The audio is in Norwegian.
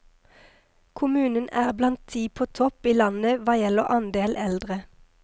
Kommunen er blant ti på topp i landet hva gjelder andel eldre.